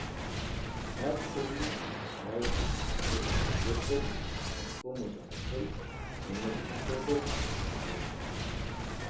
meeku seli lekawaida neitayu kulie seli kumok tenkoioi nemeidim osesen aibooyo.